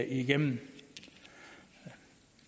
igennem